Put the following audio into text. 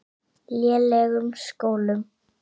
lélegum skólum.